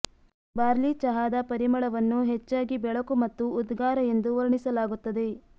barley ಚಹಾದ ಪರಿಮಳವನ್ನು ಹೆಚ್ಚಾಗಿ ಬೆಳಕು ಮತ್ತು ಉದ್ಗಾರ ಎಂದು ವರ್ಣಿಸಲಾಗುತ್ತದೆ